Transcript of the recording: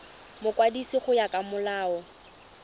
mokwadisi go ya ka molao